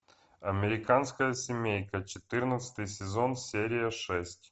американская семейка четырнадцатый сезон серия шесть